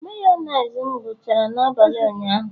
Mayonezi m gwuchara n'abalị ụnyaahụ